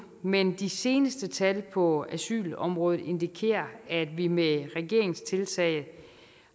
men de seneste tal på asylområdet indikerer at vi med regeringens tiltag